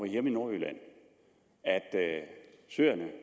hjemme i nordjylland at søerne